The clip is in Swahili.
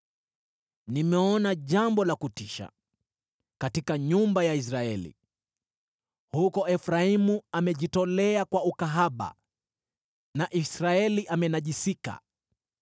Nimeona jambo la kutisha katika nyumba ya Israeli. Huko Efraimu amejitolea kwa ukahaba na Israeli amenajisika.